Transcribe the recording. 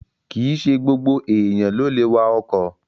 Kìíse gbogbo èèyàn ló lè wa ọkọ̀